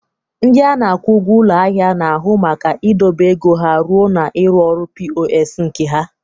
Ndị na-akwụ ụgwọ ụlọ ahịa na-ahụ maka idobe ego ha ruo na ịrụ ọrụ POS nke ha.